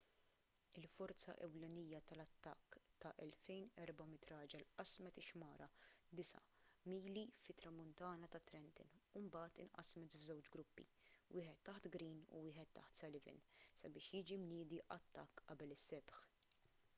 il-forza ewlenija tal-attakk ta' 2,400 raġel qasmet ix-xmara disa' mili fit-tramuntana ta' trenton u mbagħad inqasmet f'żewġ gruppi wieħed taħt greene u wieħed taħt sullivan sabiex jiġi mniedi attakk qabel is-sebħ